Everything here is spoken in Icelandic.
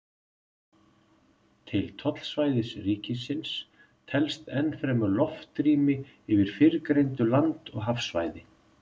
Til tollsvæðis ríkisins telst enn fremur loftrými yfir fyrrgreindu land- og hafsvæði.